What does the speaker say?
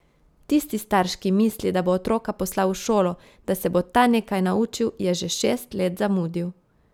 Tisti starš, ki misli, da bo otroka poslal v šolo, da se bo ta nekaj naučil, je že šest let zamudil.